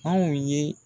Anw ye